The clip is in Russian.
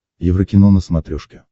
еврокино на смотрешке